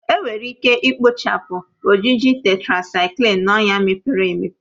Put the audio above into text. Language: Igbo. Enwere ike ikpochapụ ojiji Tetrasaiklin na ọnya mepere emepe